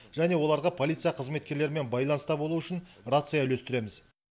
және оларға полиция қызметкерлерімен байланыста болу үшін рация үлестіреміз